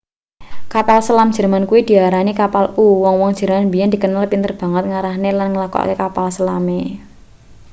kapal selam jerman kuwi diarani kapal-u wong-wong jerman biyen dikenal pinter banget ngarahke lan nglakokake kapal selame